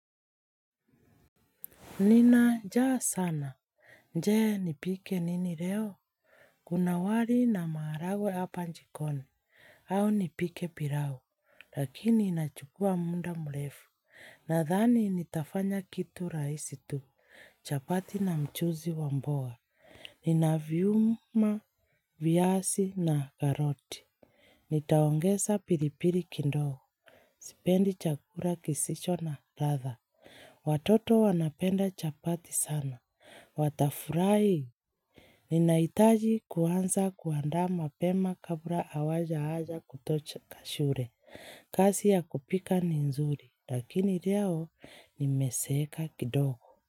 Nina jaa sana. Je nipike nini leo? Kuna wali na maharagwe hapa jikoni. Au nipike pilau. Lakini inachukua muda mrefu. Nadhani nitafanya kitu rahisi tu. Chapati na mchuzi wa mboga. Nina viuma, viazi na karoti. Nitaongeza pilipili kindogo. Sipendi chakula kisicho na radha. Watoto wanapenda chapati sana. Watafurahi Ninahitaji kuanza kuandaa pema kabla hawaja anza kutoka shule kazi ya kupika ni nzuri lakini leo nimeseeka kindogo.